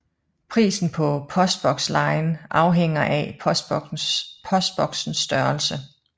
Prisen på postbokslejen afhænger af postboksens størrelse